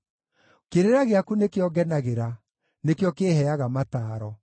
Kĩrĩra gĩaku nĩkĩo ngenagĩra; nĩkĩo kĩĩheaga mataaro.